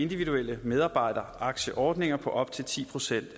individuelle medarbejderaktieordninger på op til ti procent